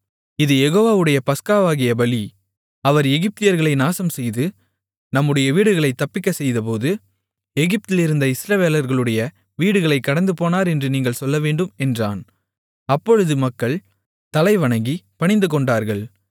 இது யெகோவாவுடைய பஸ்காவாகிய பலி அவர் எகிப்தியர்களை நாசம் செய்து நம்முடைய வீடுகளைத் தப்பிக்கச்செய்தபோது எகிப்திலிருந்த இஸ்ரவேலர்களுடைய வீடுகளைக் கடந்துபோனார் என்று நீங்கள் சொல்லவேண்டும் என்றான் அப்பொழுது மக்கள் தலைவணங்கிப் பணிந்துகொண்டார்கள்